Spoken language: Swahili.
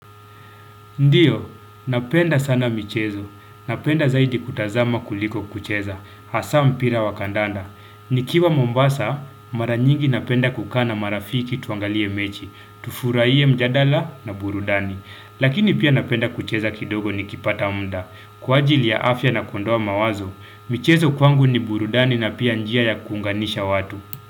Ndiyo, napenda sana michezo. Napenda zaidi kutazama kuliko kucheza. Hasa mpira wakandanda. Nikiwa Mombasa, maranyingi napenda kukaa na marafiki tuangalie mechi, tufuraie mjadala na burudani. Lakini pia napenda kucheza kidogo ni kipata mda. Kwa ajili ya afya na kundoa mawazo, michezo kwangu ni burudani na pia njia ya kunganisha watu.